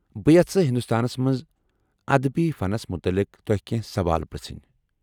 بہٕ یژھہٕ ہندوستانس منز ادبی فنس متعلق تۄہہِ کٮ۪نٛہہ سوال پرٛژٕھنۍ؟